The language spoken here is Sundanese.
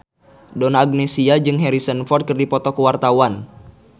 Donna Agnesia jeung Harrison Ford keur dipoto ku wartawan